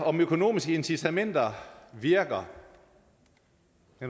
om økonomiske incitamenter virker